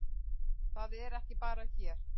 Það er ekki bara hér.